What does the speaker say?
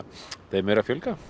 þeim er að fjölga